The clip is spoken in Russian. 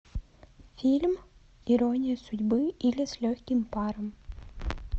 фильм ирония судьбы или с легким паром